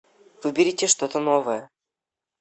выберите что то новое